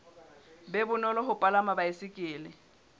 be bonolo ho palama baesekele